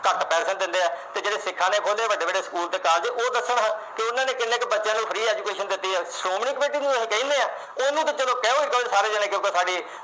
ਸਾਰੇ ਜਣੇ ਕਿਉਂਕਿ ਘੱਟ ਪੈਸੇ ਦਿੰਦੇ ਆ ਤੇ ਜਿਹੜੇ ਸਿੱਖਾਂ ਨੇ ਖੋਲ੍ਹੇ ਆ ਵੱਡੇ-ਵੱਡੇ school ਤੇ college ਉਹ ਦੱਸਣ ਕਿ ਉਹਨਾਂ ਨੇ ਕਿੰਨੇ ਕੁ ਬੱਚਿਆਂ ਨੂੰ free education ਦਿੱਤੀ ਆ। ਸ਼੍ਰੋਮਣੀ committee ਨੂੰ ਕਹਿੰਦੇ ਆ, ਉਹਨੂੰ ਤਾਂ ਕਹੋ ਚਲ ਸਾਡੀ